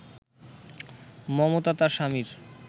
মমতা তার স্বামীর